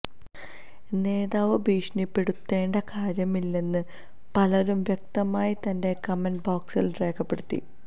നേതാവ് ഭീഷണിപ്പെടുത്തേണ്ട കാര്യമില്ലെന്ന് പലരും വ്യക്തമായി തന്റെ കമന്റ് ബോക്സിൽ രേഖപ്പെടുത്തി